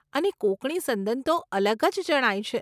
અને કોંકણી સંદન તો અલગ જ જણાય છે.